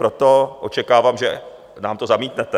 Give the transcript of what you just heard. Proto očekávám, že nám to zamítnete.